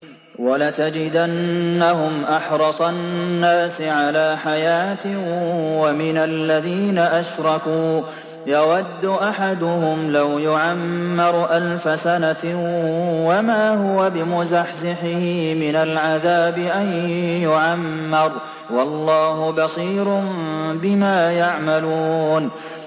وَلَتَجِدَنَّهُمْ أَحْرَصَ النَّاسِ عَلَىٰ حَيَاةٍ وَمِنَ الَّذِينَ أَشْرَكُوا ۚ يَوَدُّ أَحَدُهُمْ لَوْ يُعَمَّرُ أَلْفَ سَنَةٍ وَمَا هُوَ بِمُزَحْزِحِهِ مِنَ الْعَذَابِ أَن يُعَمَّرَ ۗ وَاللَّهُ بَصِيرٌ بِمَا يَعْمَلُونَ